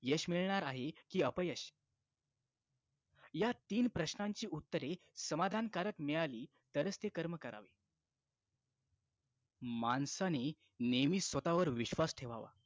यश मिळणार आहे की अपयश या तीन प्रश्नांची उत्तरे समाधानकारक मिळाली तरच ती कर्म करावे माणसाने नेहमी स्वतावर विश्वास ठेवावा